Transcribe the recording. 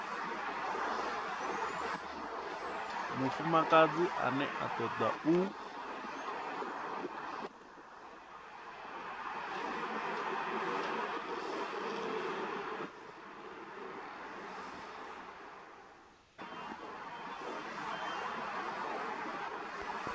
mufumakadzi ane a toda u